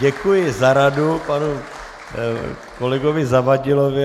Děkuji za radu panu kolegovi Zavadilovi.